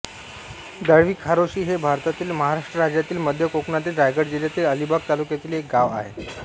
दळवी खारोशी हे भारतातील महाराष्ट्र राज्यातील मध्य कोकणातील रायगड जिल्ह्यातील अलिबाग तालुक्यातील एक गाव आहे